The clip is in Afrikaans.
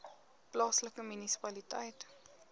plaaslike munisipaliteit